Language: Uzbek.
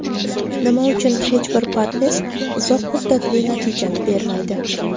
Nima uchun hech bir parhez uzoq muddatli natijani bermaydi?.